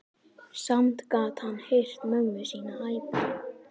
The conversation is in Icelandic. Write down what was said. Samt gat hann heyrt mömmu sína æpa.